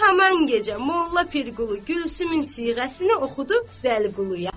Haman gecə Molla Pirqulu Gülsümün siğəsini oxudu Vəliquluya.